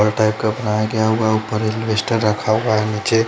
पर्दा एक का बनाया गया हुआ है ऊपर अलबेस्टर रखा हुआ है नीचे।